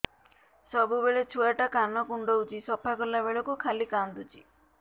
ସବୁବେଳେ ଛୁଆ ଟା କାନ କୁଣ୍ଡଉଚି ସଫା କଲା ବେଳକୁ ଖାଲି କାନ୍ଦୁଚି